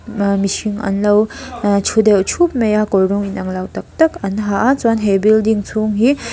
ahh mihring an lo ehh thu deuh thup mai a kawr rawng in ang lo tak tak an ha a chuan he building chhung hi--